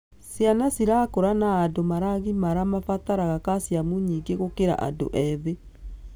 Ciana cirakũra na andũ maragimara mabataraga calcium nyingĩ gũkĩra andũ ethĩ.